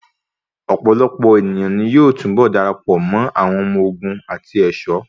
Ọ̀pọ̀lọpọ̀ èniyàn ní yóò túnbọ̀ darapọ̀ mọ́ àwọn ọmọ ogun àti ẹ̀ṣọ́.